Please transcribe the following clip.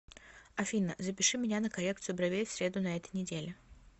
афина запиши меня на коррекцию бровей в среду на этой неделе